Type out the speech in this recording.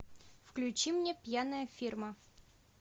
включи мне пьяная фирма